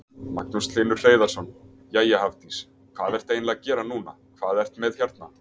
Magnús Hlynur Hreiðarsson: Jæja Hafdís, hvað ertu eiginlega að gera núna, hvað ert með hérna?